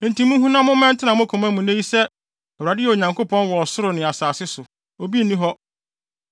Enti munhu na momma ɛntena mo koma mu nnɛ yi sɛ Awurade yɛ Onyankopɔn wɔ ɔsoro ne asase so. Obi nni hɔ.